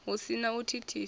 hu si na u thithisa